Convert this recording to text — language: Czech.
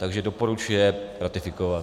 Takže doporučuje ratifikovat.